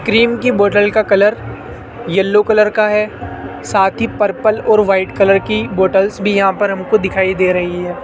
Cream की bottle का colour yellow colour का है साथ ही पर्पल और वाइट कलर की बॉटल्स भी यहां पर हमको दिखाई दे रही है।